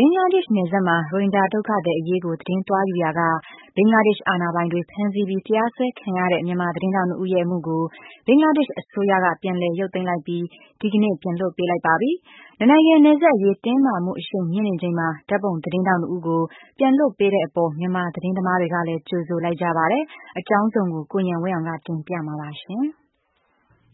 င်္ဂလားဒေ့ရှ်နယ်စပ်မှာ ရိုဟင်ဂျာဒုက္ခသည်အရေးကို သတင်းသွားယူရာက ဘင်္ဂလားဒေ့ရှ်အာဏာပိုင်တွေ ဖမ်းဆီးပြီး တရားစွဲခံရတဲ့ မြန်မာ သတင်းထောက် ဦးရဲ့အမှုကို ဘင်္ဂလားဒေ့ရှ်အစိုးရက ပြန်လည်ရုပ်သိမ်းလိုက်ပြီး ဒီကနေ့ ပြန်လွှတ်ပေးလိုက်ပါပြီ။ နှစ်နိုင်ငံနယ်စပ်အရေး တင်းမာမှု အရှိန်မြင့်နေချိန်မှာ ဓါတ်ပုံသတင်းထောက် ဦးကို ပြန်လွှတ်ပေးတဲ့အပေါ် မြန်မာသတင်းသမား တွေကလည်း ကြိုဆိုလိုက်ကြ ပါတယ်။ အကြောင်းစုံကို ကိုဉာဏ်ဝင်းအောင်က တင်ပြမှာပါ။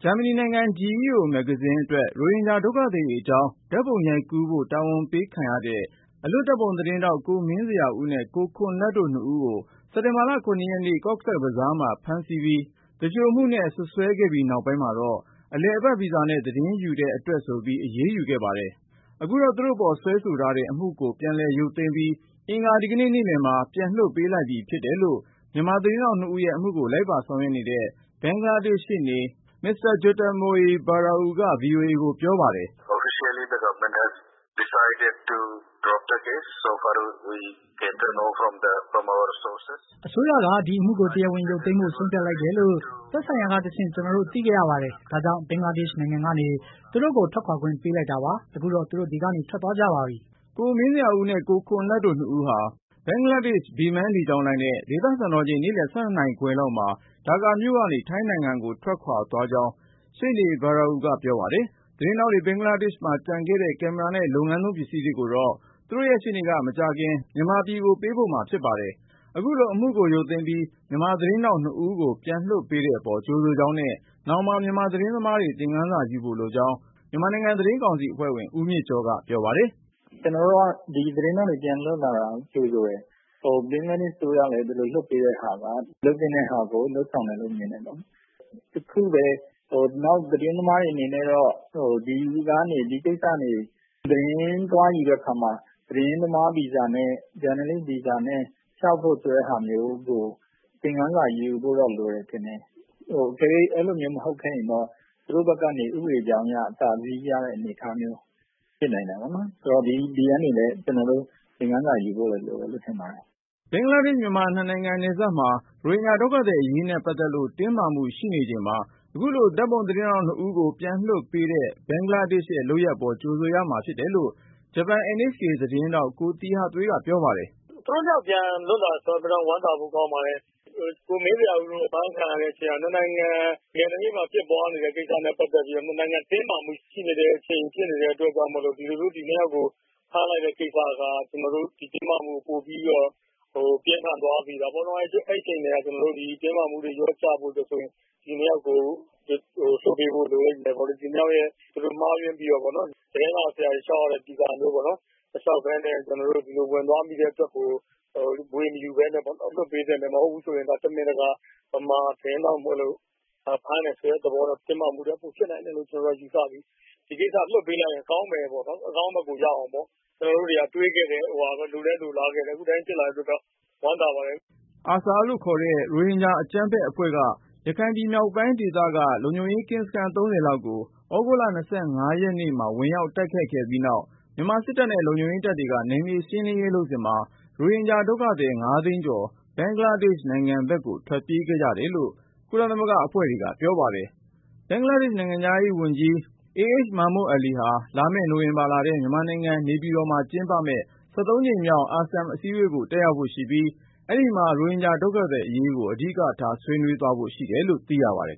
ဂျာမနီနိုင်ငံ GEO မဂ္ဂဇင်းအတွက် ရိုဟင်ဂျာဒုက္ခသည်တွေအကြောင်း ဓါတ်ပုံရိုက်ကူးဖို့ တာဝန်ပေးခံရတဲ့ အလွတ် ဓါတ်ပုံသတင်းထောက် ကိုမင်းဇေယျာဦးနဲ့ ကိုခွန်လတ်တို့ နှစ်ဦးကို စက်တင်ဘာလ ရက်နေ့ Cox’s Bazar မှာ ဖမ်းဆီးပြီး သူလျှိုမှုနဲ့ စွပ်စွဲခဲ့ပြီးနောက်ပိုင်းမှာတော့ အလည်အပတ် ဗီဇာနဲ့ သတင်းယူတဲ့ အတွက်ဆိုပြီး အရေးယူခဲ့ပါတယ်။ အခုတော့ သူတို့ပေါ် စွဲဆိုထားတဲ့ အမှုကိုပြန်လည် ရုပ်သိမ်းပြီး အင်္ဂါဒီကနေ့ နေ့လည်မှာ ပြန်လွှတ်ပေးလိုက်ပြီ ဖြစ်တယ်လို့ မြန်မာသတင်း ထောက် နှစ်ဦးရဲ့အမှုကို လိုက်ပါဆောင်ရွက်နေတဲ့ ဘင်္ဂလားဒေ့ရှ် ရှေ့နေ မစ္စတာ Jyotirmoy Barua က VOA ကိုပြောပါတယ်။ “အစိုးရက ဒီအမှုကို တရားဝင်ရုပ်သိမ်းဖို့ ဆုံးဖြတ်လိုက်တယ်လို့ သက်ဆိုင်ရာကတဆင့် ကျနော်တို့ သိခဲ့ရပါတယ်။ ဒါကြောင့် ဘင်္ဂလားဒေ့ရှ် နိုင်ငံကနေ သူတို့ကို ထွက်ခွာခွင့် ပေးလိုက်တာပါ။ ခုတော့ သူတို့ ဒီကနေ ထွက်သွားကြပါပြီ” ကိုမင်းဇေယျာဦးနဲ့ ကိုခွန်လတ်တို့ နှစ်ဦးဟာ ဘင်္ဂလားဒေ့ရှ် Biman လေကြောင်းလိုင်းနဲ့ ဒေသစံတော်ချိန်နေ့လည် ၁၂နာရီခွဲ လောက်မှာဒါကာမြို့ကနေ ထိုင်းနိုင်ငံကို ထွက်ခွာသွားကြောင်း ရှေ့နေ Barua ကပြောပါတယ်။ သတင်းထောက်တွေ ဘင်္ဂလားဒေ့ရှ်မှာ ကျန်ခဲ့တဲ့ ကင်မရာနဲ့ လုပ်ငန်းသုံးပစ္စည်းတွေကိုတော့ သူတို့ရှေ့နေက မကြာခင် မြန်မာပြည်ကို ပို့ပေးမှာဖြစ်ပါတယ်။ အခုလို အမှုကိုရုပ်သိမ်းပြီး မြန်မာသတင်းထောက် နှစ်ဦးကို ပြန်လွှတ်ပေးတဲ့အပေါ် ကြိုဆိုကြောင်းနဲ့ နောင်မှာ မြန်မာသတင်းသမားတွေ သင်ခန်းစာ ယူဖို့လိုကြောင်း မြန်မာနိုင်ငံ သတင်းကောင်စီအဖွဲ့ဝင် ဦးမြင့်ကျော်က ပြောပါတယ်။ “ကျနော်တို့က ဒီသတင်းထောက်တွေပြန်လွတ်လာတာကို ကြိုဆိုတယ်၊ ဘင်္ဂလားဒေ့ရှ်အစိုးရလည်း ဒီလိုလွတ်ပေးတာက လုပ်သင့်တဲ့ဟာကို လုပ်ဆောင်တယ်လို့ မြင်တယ်ပေါ့နော်။ တခုပဲ နောက်သတင်းသမားတွေအနေနဲ့တော့ ဒီကိစ္စတွေသတင်းသွားယူတဲ့အခါမှာ သတင်းသမားဗီဇာနဲ့ ဂျာနယ်လစ် ဗီဇာနဲ့ လျှောက်ဖို့ဆိုတာမျိုးကို သင်ခန်းစာယူဖို့လိုမယ်လို့တော့ ထင်တယ်။ အကယ်၍အဲလိုမျိုးမဟုတ်ခဲ့ရင်တော့ သူတို့ဘက်ကနေ ဥပဒေအကြောင်းအရ အသာစီးရတဲ့အနေအထားမျိုးဖြစ်နိုင်တာပေါ့နော်။ ဒီကနေလည်း ကျနော်တို့ သင်ခန်းစာယူဖို့တော့လိုတယ်လို့ ထင်ပါတယ်။” ဘင်္ဂလား-မြန်မာ နှစ်နိုင်ငံနယ်စပ်မှာ ရိုဟင်ဂျာဒုက္ခသည် အရေးနဲ့ပတ်သက်လို့ တင်းမာမှုရှိနေချိန်မှာ ခုလို ဓါတ်ပုံသတင်းထောက် နှစ်ဦးကို ပြန်လွှတ်ပေးတဲ့ ဘင်္ဂလားဒေ့ရှ်ရဲ့လုပ်ရပ်အပေါ် ကြိုဆိုရမှာ ဖြစ်တယ်လို့ ဂျပန် NHK သတင်းထောက် ကိုသီဟသွေးက ပြောပါတယ်။ “သူတို့၂ ယောက်ပြန်လွှတ်လာတယ်ဆိုတော့ ဝမ်းသာဖို့ကောင်းပါတယ်။ ကိုမင်းဇေယျာဦးတို့အဖမ်းခံရတဲ့ကိစ္စက ၂ နိုင်ငံ နယ်နိမိတ်မှာ ဖြစ်ပွားနေတဲ့ ကိစ္စနဲ့ ပတ်သက်ပြီးတော့ ၂ နိုင်ငံတင်းမာမှုဖြစ်နေတဲ့အချိန်ဖြစ်နေတဲ့အတွက်ကြောင့်မို့လို့ ဒီလိုမျိုး သူတို့ကိုဖမ်းလိုက်တဲ့ကိစ္စက ဒီတင်းမာမှုကို ပိုပြီးတော့ ပြင်းထန်သွားစေတာပေါ့နော်။ အဲဒီအချိန်ကတည်းက တင်းမာမှုတွေ လျှော့ကျဖို့အတွက်ဆိုရင် ဒီ ၂ ယောက်ကို လွှတ်ပေးဖို့လိုလိမ့်မယ်ပေါ့နော်။ ဒီ၂ ယောက်ရဲ့ မှားယွင်းပြီးတော့ သတင်းစာဆရာတွေ လျှောက်ရတဲ့ ဗီဇာတွေပေါ့နော် မလျှောက်ပဲနဲ့ ကျနော်တို့ ဒီလိုဝင်သွားမိတဲ့အတွက်ကို ဗွေမယူပဲနဲ့ လွှတ်ပေးသင့်တယ်။ မဟုတ်ဘူးဆိုရင် တမင်တကာ မြန်မာသတင်းထောက်မို့လို့ ဖမ်းတယ်ဆိုတဲ့သဘောကြောင့် တင်းမာမှုတွေ ပိုဖြစ်နိုင်တယ်ဆိုတာ ကျနော်တို့ ယူဆပြီး ဒီကိစ္စလွှတ်ပေးလိုက်ရင်ကောင်းမယ်ပေါ့နော် အကောင်းဘက်ကိုရောက်အောင်ပေါ့။ ကျနော်တို့တွေက တွေ့ခဲ့တဲ့ လိုလည်းလိုလားခဲ့တယ် အခုလိုဖြစ်လာတဲ့အတွက်ကြောင့် ဝမ်းသာပါတယ်။” ARSA ခေါ်တဲ့ ရိုဟင်ဂျာအကြမ်းဖက်အဖွဲ့က ရခိုင်ပြည်နယ်မြောက်ပိုင်းဒေသက လုံခြုံရေးကင်းစခန်း လောက်ကို သြဂုတ်လ ရက်နေ့ မှာ ဝင်ရောက် တိုက်ခိုက်ခဲ့ပြီးနောက်၊ မြန်မာစစ်တပ်နဲ့ လုံခြုံရေးတပ်တွေက နယ်မြေရှင်းလင်းရေးလုပ်စဉ်မှာ ရိုဟင်ဂျာဒုက္ခသည် သိန်း ကျော် ဘင်္ဂလားဒေ့ရ်ှနယ်စပ်ကို ထွက်ပြေးခဲ့ကြတယ်လို့ ကုလသမဂ္ဂအဖွဲ့တွေက ပြောပါတယ်။ ဘင်္ဂလားဒေ့ရှ် နိုင်ငံခြားရေးဝန်ကြီး Abul Hassan Mahmood Ali ဟာ လာမယ့်နိုဝင်ဘာလထဲ မြန်မာနိုင်ငံ နေပြည်တော်မှာ ကျင်းပမယ့် ကြိမ်မြောက် ASEM အစည်းအဝေးကို တက်ရောက်ဖို့ရှိပြီး၊ ရိုဟင်ဂျာဒုက္ခသည် အရေးကိုလည်း ဆွေးနွေးဖို့ရှိတယ်လို့ သိရပါတယ်